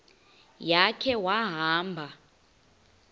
ya khe wahamba